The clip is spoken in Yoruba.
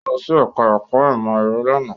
Ó lọ sí ẹ̀ká ẹ̀kọ́ ìmọ̀ ẹ̀rọ lánàá